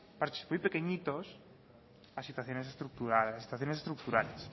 parches muy pequeñitos a situaciones estructurales